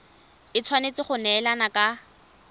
e tshwanetse go neelana ka